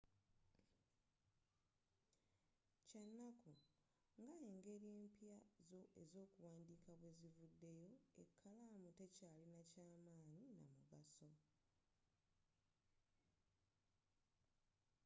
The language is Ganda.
kyanaku nga engeri empya ez'okuwandiika bwezivudeyo ekalaamu tekyalinanyo ky'amanyi n'amugaso